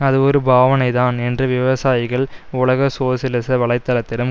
அது ஒரு பாவனைதான் என்று விவசாயிகள் உலக சோசியலிச வலை தளத்திடம்